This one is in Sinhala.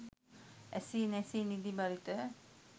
ඇසී නැසී නිදි බරිත